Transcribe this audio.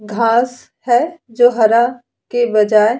घांस है जो हरा के बजाये --